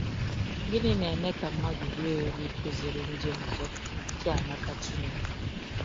Gịnị na-eme ka mmadụ ruo eru ịkụziri ndị ọzọ Chiamaka Chineke?